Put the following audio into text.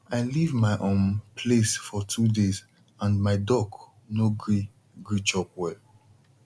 i leave my um place for two days and my duck no gree gree chop well